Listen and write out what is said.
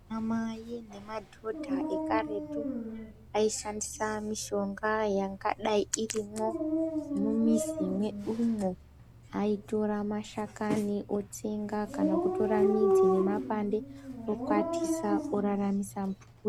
Anamai nemadhodha ekaretu, aishandisa mishonga yangadai irimwo mumizi mwedumwo. Aitora mashakani otsenga, kana kutora midzi nemapande, okwatisa oraramisa mhuri.